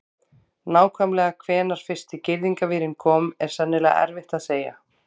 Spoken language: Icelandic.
Nákvæmlega hvenær fyrsti girðingarvírinn kom er sennilega erfitt að segja.